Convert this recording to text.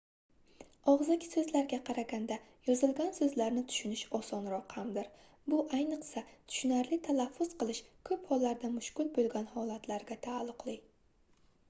ogʻzaki soʻzlarga qaraganda yozilgan soʻzlarni tushunish osonroq hamdir bu ayniqsa tushunarli talaffuz qilish koʻp hollarda mushkul boʻlgan holatlarga taalluqli